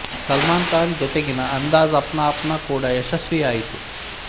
ಸಲ್ಮಾನ ಖಾನ್ ಜೊತೆಗಿನ ಅಂದಾಜ್ ಅಪ್ನಾ ಅಪ್ನಾ ಕೂಡ ಯಶಸ್ವಿಯಾಯಿತು